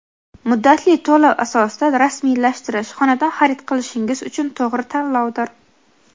muddatli to‘lov asosida rasmiylashtirish – xonadon xarid qilishingiz uchun to‘g‘ri tanlovdir.